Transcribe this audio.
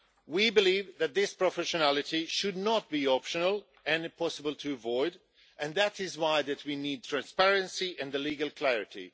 We believe that this professionality should not be optional, but impossible to avoid, and that is why that we need transparency and legal clarity.